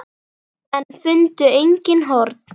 En fundu engin horn.